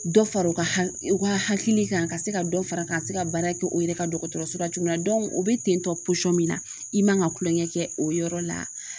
Dɔ fara u ka ,u ka hakili kan . Ka se ka dɔ fara ka se ka baara kɛ u yɛrɛ ka dɔgɔtɔrɔso la cogo min na o be ten tɔ min na, i man ka kulonkɛ o yɔrɔ la.